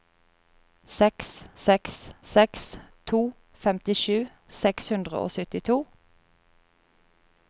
seks seks seks to femtisju seks hundre og syttito